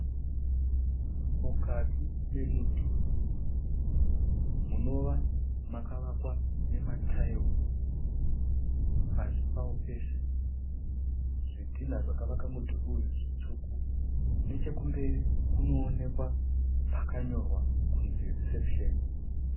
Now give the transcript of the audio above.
Mukati memudhuri munova makavakwa namataira pasi pawo pese. Zvidhinha zvakavaka mudhuri uyu zvitsvuku. Nechekumberi kunoonekwa pakanyorwa kunzi RECEPTION.